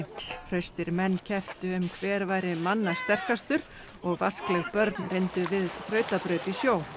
hraustir menn kepptu um hver væri manna sterkastur og vaskleg börn reyndu við þrautabraut í sjó